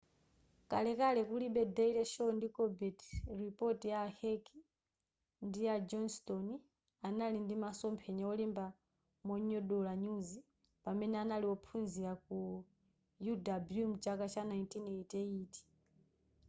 kalekale kulibe daily show ndi colbert report a heck ndi a johnstone anali ndi masomphenya olemba monyogodola nyuzi pamene anali ophunzila ku uw mchaka cha 1988